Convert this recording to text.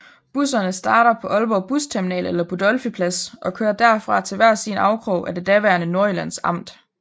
Busserne starter på Aalborg Busterminal eller Budolfi Plads og kører derfra til hver sin afkrog af det daværende Nordjyllands Amt